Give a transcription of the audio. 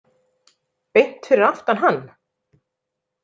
Beint fyrir aftan hann?